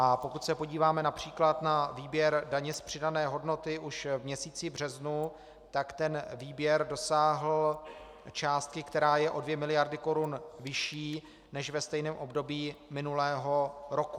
A pokud se podíváme například na výběr daně z přidané hodnoty už v měsíci březnu, tak ten výběr dosáhl částky, která je o 2 miliardy korun vyšší než ve stejném období minulého roku.